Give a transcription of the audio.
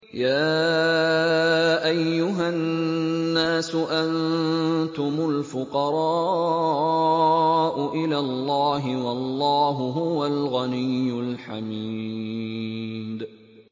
۞ يَا أَيُّهَا النَّاسُ أَنتُمُ الْفُقَرَاءُ إِلَى اللَّهِ ۖ وَاللَّهُ هُوَ الْغَنِيُّ الْحَمِيدُ